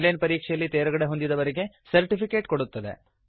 on line ಪರೀಕ್ಷೆಯಲ್ಲಿ ತೇರ್ಗಡೆಹೊಂದಿದವರಿಗೆ certificate ಕೊಡುತ್ತದೆ